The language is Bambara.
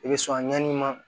I bɛ sɔn ɲɛn'i ma